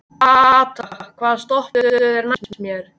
Kata, hvaða stoppistöð er næst mér?